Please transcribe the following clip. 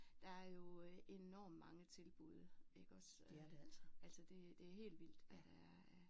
Der er jo enormt mange tilbud iggås altså det det er helt vildt hvad der er af